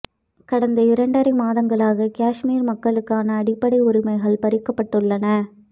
கடந்த இரண்டரை மாதங்களாக காஷ்மீர் மக்களுக்கான அடிப்படை உரிமைகள் பறிக்கப்பட்டுள்ளன